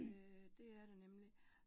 Øh det er det nemlig